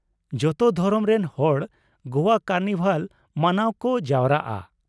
ᱡᱚᱛᱚ ᱫᱷᱚᱨᱚᱢ ᱨᱮᱱ ᱦᱚᱲ ᱜᱚᱣᱟ ᱠᱟᱨᱱᱤᱵᱷᱟᱞ ᱢᱟᱱᱟᱣ ᱠᱚ ᱡᱟᱣᱨᱟᱜᱼᱟ ᱾